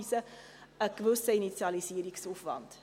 Das will ich nicht von der Hand weisen.